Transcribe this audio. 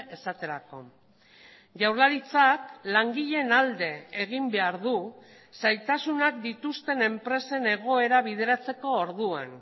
esaterako jaurlaritzak langileen alde egin behar du zailtasunak dituzten enpresen egoera bideratzeko orduan